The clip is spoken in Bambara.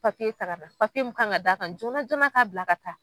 Papiye taa ka na, papiye mun kan ka d'a kan jona jona k'a bila ka taa.